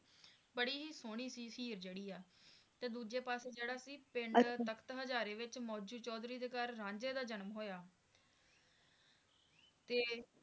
ਬੜੀ ਹੀ ਸੋਹਣੀ ਸੀ ਹੀਰ ਜਿਹੜੀ ਆ ਤੇ ਦੂਜੇ ਪਾਸੇ ਜਿਹੜਾ ਸੀ ਪਿੰਡ ਤਖਤ ਹਜਾਰੇ ਵਿਚ ਮੌਜੂ ਚੌਧਰੀ ਦੇ ਘਰ ਰਾਂਝੇ ਦਾ ਜਨਮ ਹੋਇਆ ਤੇ